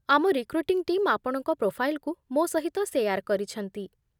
ଆମ recruiting team ଆପଣଙ୍କ ପ୍ରୋଫାଇଲ୍‌କୁ ମୋ ସହିତ ସେୟାର୍ କରିଛନ୍ତି